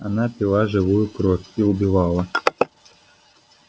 она пила живую кровь и убивала